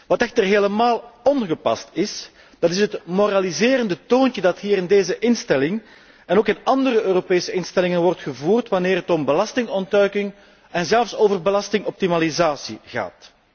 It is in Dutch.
Wat echter helemaal ongepast is, dat is het moraliserende toontje dat hier in deze instelling en ook in andere Europese instellingen wordt aangeslagen wanneer het om belastingontduiking en zelfs over belastingoptimalisatie gaat.